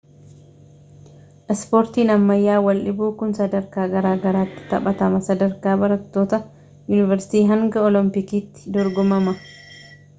ispoortiin ammayya waldhiibuu kun sadarkaa garaagaraatti taphatama sadarkaa barattoota yuunivarsiitii hanga olompiikiitti dorgomama